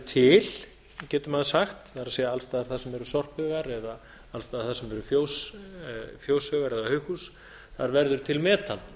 til getur maður sagt það er alls staðar þar sem eru sorphaugar eða alls staðar þar sem eru fjóshaugar eða haughús þar verður til metan